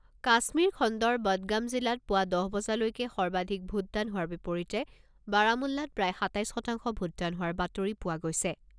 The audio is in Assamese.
কাশ্মীৰ খণ্ডৰ বদগাম জিলাত পুৱা দহ বজালৈকে সৰ্বাধিক ভোটদান হোৱাৰ বিপৰীতে বাৰামুল্লাত প্ৰায় সাতাইছ শতাংশ ভোটদান হোৱাৰ বাতৰি হোৱা গৈছে।